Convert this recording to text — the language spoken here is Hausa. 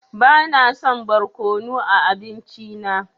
Bana son barkonu a abinci na.